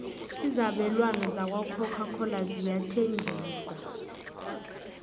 izabelwana zakwacoca cola ziyathengiswa